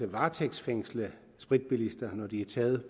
varetægtsfængsle spritbilister når de er taget